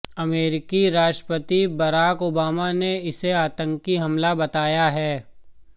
अमेरिकी राष्ट्रपति Barack Obama ने इसे आतंकी हमला बताया है